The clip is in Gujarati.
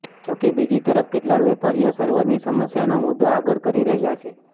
જોકે બીજી તરફ કેટલાક વેપારીઓ સર્વરની સમસ્યાનો મુદ્દો આગળ કરી રહ્યાં છે